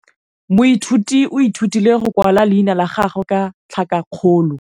Moithuti o ithutile go simolola go kwala leina la gagwe ka tlhakakgolo.